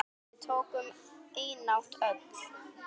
Slag við tökum einatt öll.